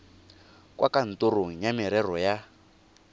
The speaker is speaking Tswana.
kwa kantorong ya merero ya